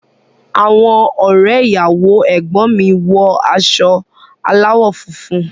Àwọn ọrẹ ìyàwó ẹgbọn mi wọ aṣọ alawọ funfun.